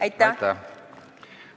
Aitäh!